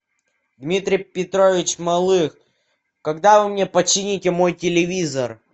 дмитрий петрович малых когда вы мне почините мой телевизор